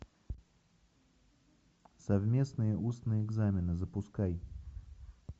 совместные устные экзамены запускай